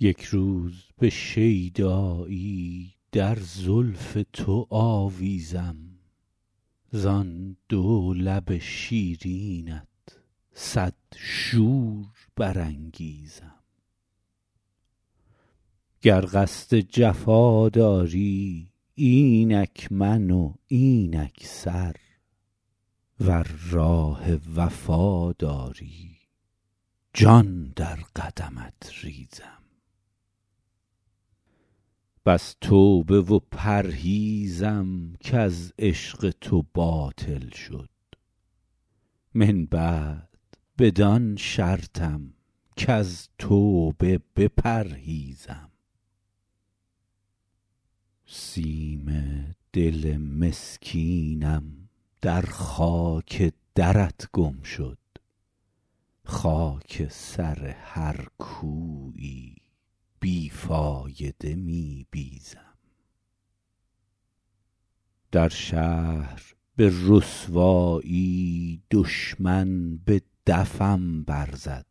یک روز به شیدایی در زلف تو آویزم زان دو لب شیرینت صد شور برانگیزم گر قصد جفا داری اینک من و اینک سر ور راه وفا داری جان در قدمت ریزم بس توبه و پرهیزم کز عشق تو باطل شد من بعد بدان شرطم کز توبه بپرهیزم سیم دل مسکینم در خاک درت گم شد خاک سر هر کویی بی فایده می بیزم در شهر به رسوایی دشمن به دفم برزد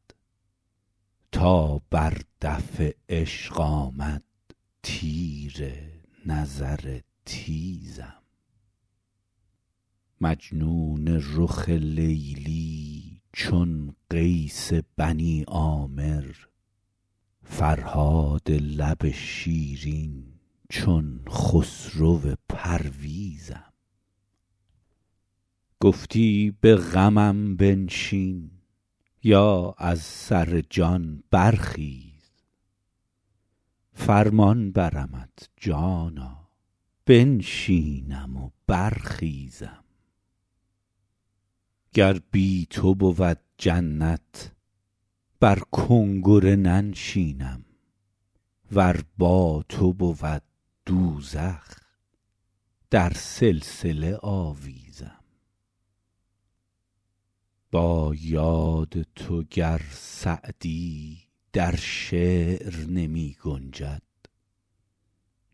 تا بر دف عشق آمد تیر نظر تیزم مجنون رخ لیلی چون قیس بنی عامر فرهاد لب شیرین چون خسرو پرویزم گفتی به غمم بنشین یا از سر جان برخیز فرمان برمت جانا بنشینم و برخیزم گر بی تو بود جنت بر کنگره ننشینم ور با تو بود دوزخ در سلسله آویزم با یاد تو گر سعدی در شعر نمی گنجد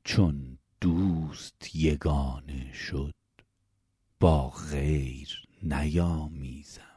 چون دوست یگانه شد با غیر نیامیزم